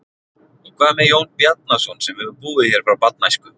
Og hvað með Jón Bjarnason sem hefur búið hér frá barnæsku?